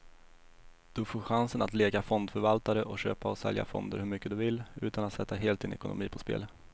Du får chansen att leka fondförvaltare och köpa och sälja fonder hur mycket du vill, utan att sätta hela din ekonomi på spel.